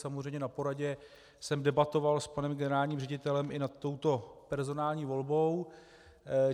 Samozřejmě na poradě jsem debatoval s panem generálním ředitelem i nad touto personální volbou.